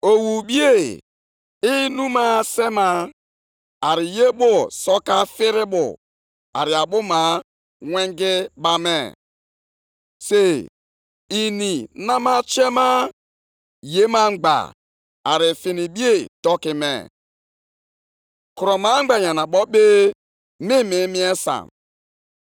Ọ bụ na ọ bụghị uche Onyenwe anyị, Onye pụrụ ime ihe niile, na ndọgbu nʼọrụ niile nke mmadụ bụ na nkịtị, ihe e ji afụnwu ọkụ, na oke ọrụ niile nke mba dị iche iche bụ ihe lara nʼiyi?